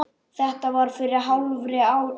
Þetta var fyrir hálfri öld.